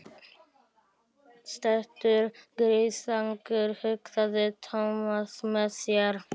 Steiktur gyðingur, hugsaði Thomas með sér.